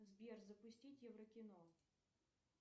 сбер запустить еврокино